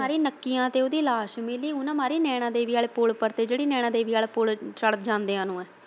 ਉਹਨਾਂ ਨੇ ਮਾਰੀ ਨੱਕੀਆਂ ਤੇ ਉਹਦੀ ਲਾਸ਼ ਮਿਲੀ ਉਨਾਂ ਨੇ ਮਾਰੀ ਨੈਣਾਂ ਦੇਵੀ ਵਾਲੇ ਪੁੱਲ ਪਰ ਜਿਹੜੀ ਨੈਣਾਂ ਦੇਵੀ ਵਾਲੇ ਪੁੱਲ ਵੱਲ ਜਾਂਦਿਆਂ ਨੂੰ ਐ।